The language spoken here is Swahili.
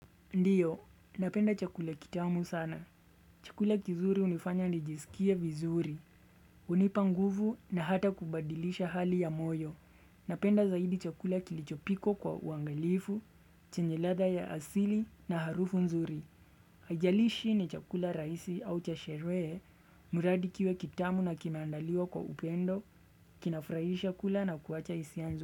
Ndiyo, napenda chakula kitamu sana. Chakula kizuri unifanya nijisikia vizuri, unipa nguvu na hata kubadilisha hali ya moyo. Napenda zaidi chakula kilichopikwa kwa uangalifu, chenje ladha ya asili na harufu nzuri. Ajalishi ni chakula raisi au cha sheree, muradi kiwe kitamu na kinaandaliwa kwa upendo, kinafrahisha kula na kuacha isia nzuri.